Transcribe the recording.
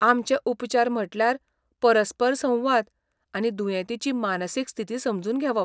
आमचे उपचार म्हटल्यार परस्पर संवाद आनी दुयेंतीची मानसीक स्थिती समजून घेवप.